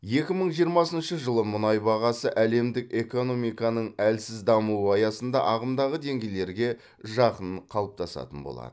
екі мың жиырмасыншы жылы мұнай бағасы әлемдік экономиканың әлсіз дамуы аясында ағымдағы деңгейлерге жақын қалыптасатын болады